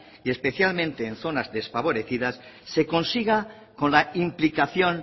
y especialmente en zonas desfavorecidas se consiga con la implicación